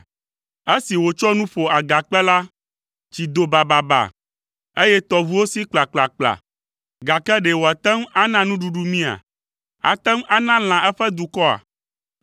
Esi wòtsɔ nu ƒo agakpe la, tsi do bababa, eye tɔʋuwo si kplakplakpla. Gake ɖe wòate ŋu ana nuɖuɖu mía? Ate ŋu ana lã eƒe dukɔa?”